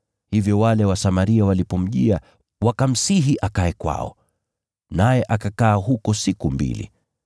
Hivyo wale Wasamaria walipomjia, wakamsihi akae kwao. Naye akakaa huko siku mbili.